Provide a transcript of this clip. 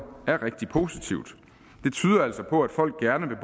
er rigtig positivt det tyder altså på at folk gerne vil